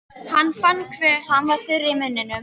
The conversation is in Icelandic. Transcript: Hann fann hve hann var þurr í munninum.